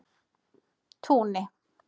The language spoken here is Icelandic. Túni